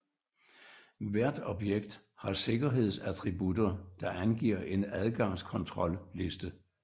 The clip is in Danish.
Hvert objekt har sikkerhedsattributter der angiver en adgangskontrolliste